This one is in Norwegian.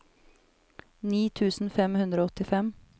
ni tusen fem hundre og åttifem